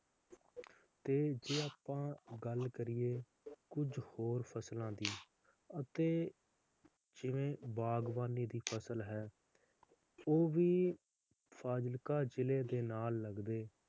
ਤੇ ਜੇ ਅੱਪਾਂ ਗੱਲ ਕਰੀਏ ਕੁਜ ਹੋਰ ਫਸਲਾਂ ਦੀ ਅਤੇ ਜਿਵੇ ਬਾਗਵਾਨੀ ਦੀ ਫਸਲ ਹੈ, ਉਹ ਵੀ ਫਾਜ਼ਿਲਕਾ ਜ਼ਿਲੇ ਦੇ ਨਾਲ ਲਗਦੇ